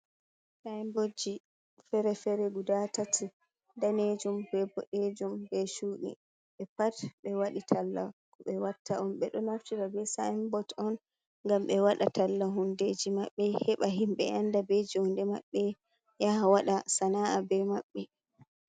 Saibotji fere-fere gudatati, daneejum, bod’eejum be chuuɗi. 'Be pat 'be wadi talla ko ɓe watta on, 'be do naftira be saibot on gam ɓe wada talla hundeji maɓɓe; heɓa himɓe anda be joonde maɓɓe yaha wada sana’a be maɓɓe.